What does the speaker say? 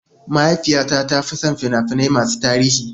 Mahaifiyata ta fi son fina-finai masu tarihi.